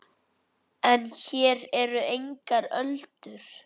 En hér eru engar öldur.